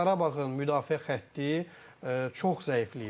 Qarabağın müdafiə xətti çox zəifləyib.